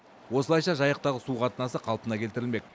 осылайша жайықтағы су қатынасы қалпына келтірілмек